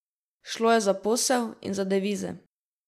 Šlo je za posel in za devize.